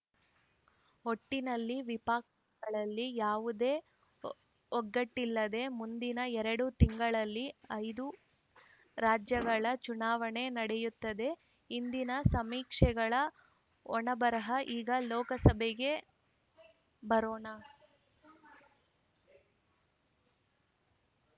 ಒಟ್ಟಿನಲ್ಲಿ ವಿಪಕಗಳಲ್ಲಿ ಯಾವುದೇ ಒಗ್ಗಟ್ಟಿಲ್ಲದೆ ಮುಂದಿನ ಎರಡು ತಿಂಗಳಲ್ಲಿ ಐದು ರಾಜ್ಯಗಳ ಚುನಾವಣೆ ನಡೆಯುತ್ತದೆ ಹಿಂದಿನ ಸಮೀಕ್ಷೆಗಳ ಹಣೆಬರಹ ಈಗ ಲೋಕಸಭೆಗೆ ಬರೋಣ